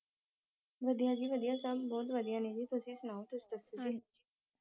ਵਧੀਆ ਜੀ ਵਧੀਆ ਸਬ ਬਹੁਤ ਵਧੀਆ ਨੇ ਜੀ ਤੁਸੀ ਸੁਣਾਓ ਤੁਸੀ ਦਸੋ ਜੀ